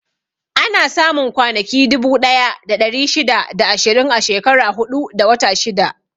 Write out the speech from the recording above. Ana samun kwanaki dubu ɗaya da ɗari shida da ashirin a shekara huɗu da wata shida.